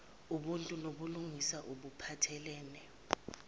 oluntu nobulungiswa obuphathelene